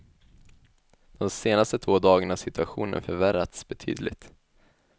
De senaste två dagarna har situationen förvärrats betydligt.